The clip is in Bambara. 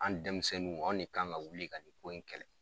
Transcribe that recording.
An denmisɛnninw anw de kan ka wuli ka nin ko in kɛlɛ